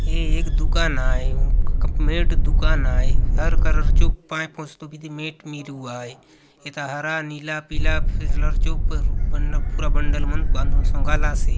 ये एक दुकान आय मेट दुकान आय हर कलर चो पैर पोछतो बीती मेट मिरुआय एता हरा नीला पीला कलर चो प न पूरा बंडल मन बांधून सोंगालासे।